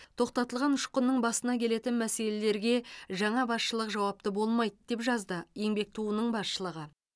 тоқтатылған ұшқынның басына келетін мәселелерге жаңа басшылық жауапты болмайды деп жазды еңбек туының басшылығы